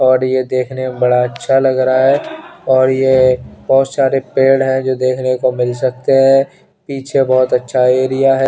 और ये देखने में बडा अच्छा लग रहा हैं और ये बहुत सारे पेड़ है जो देखने को मिल सकते हैं पीछे बहुत ही अच्छा एरिया ह--